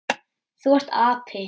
Þú ert api.